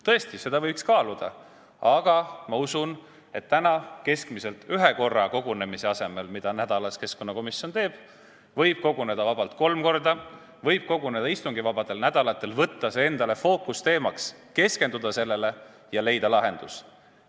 Tõesti, seda võiks kaaluda, aga ma usun, et selle asemel, et koguneda ühe korra nädalas, nagu keskkonnakomisjon teeb, võib vabalt kokku tulla kolm korda nädalas või kas või istungivabadel nädalatel, võtta see endale fookusteemaks, keskenduda sellele ja leida lahendus.